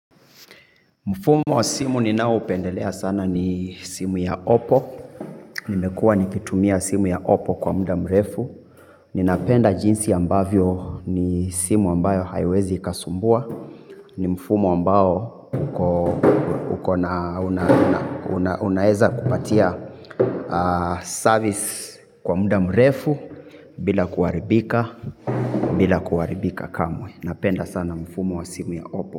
Mfumo wa simu ninao upendelea sana ni simu ya opo. Nimekuwa nikitumia simu ya oppo kwa muda mrefu. Ninapenda jinsi ambavyo ni simu ambayo haiwezi ikasumbua. Ni mfumo ambao unaeza kupatia service kwa muda mrefu. Bila kuharibika, bila kuharibika kamwe. Napenda sana mfumo wa simu ya oppo.